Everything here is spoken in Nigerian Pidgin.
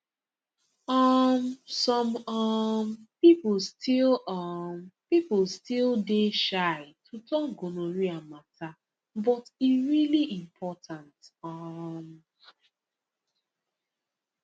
um some um people still um people still dey shy to talk gonorrhea matter but e really important um